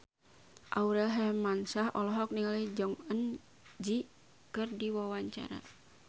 Aurel Hermansyah olohok ningali Jong Eun Ji keur diwawancara